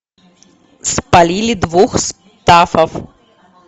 спалили двух стаффов